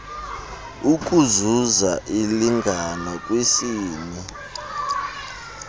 ukuzuza ulingano kwisini